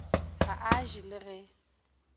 ga a je le ge